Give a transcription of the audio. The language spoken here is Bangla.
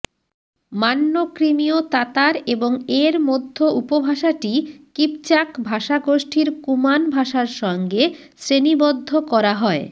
মান্য ক্রিমীয় তাতার এবং এর মধ্য উপভাষাটি কিপচাক ভাষাগোষ্ঠির কুমান ভাষার সঙ্গে শ্রেণীবদ্ধ করা হয়